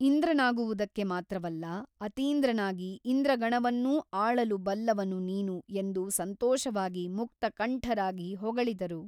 ಇಂದ್ರನಾಗುವುದಕ್ಕೆ ಮಾತ್ರವಲ್ಲಾ ಅತೀಂದ್ರನಾಗಿ ಇಂದ್ರಗಣವನ್ನೂ ಆಳಲು ಬಲ್ಲವನು ನೀನು ಎಂದು ಸಂತೋಷವಾಗಿ ಮುಕ್ತಕಂಠರಾಗಿ ಹೊಗಳಿದರು.